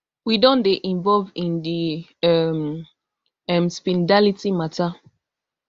we don dey involve in di um um speed darlington matta